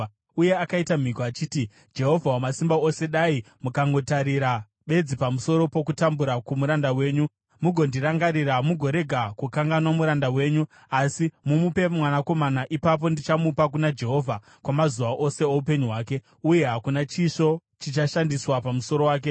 Uye akaita mhiko achiti, “Jehovha Wamasimba Ose, dai mukangotarira bedzi pamusoro pokutambura kwomuranda wenyu mugondirangarira, mugorega kukanganwa muranda wenyu asi mumupe mwanakomana, ipapo ndichamupa kuna Jehovha kwamazuva ose oupenyu hwake, uye hakuna chisvo chichashandiswa pamusoro wake.”